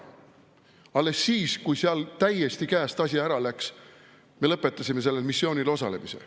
Alles siis, kui seal asi täiesti käest ära läks, me lõpetasime sellel missioonil osalemise.